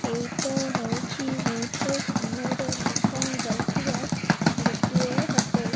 ଏଇଟା ହଉଚି ବହୁତ ସୁନ୍ଦର ଦେଖା ଯାଉଥିବା ଗୋଟିଏ ହୋଟେଲ୍ ।